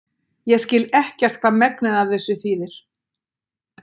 ég skil ekkert hvað megnið af þessu þýðir